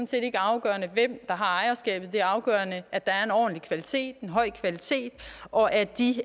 set ikke afgørende hvem der har ejerskabet det er afgørende at der er en ordentlig kvalitet en høj kvalitet og at de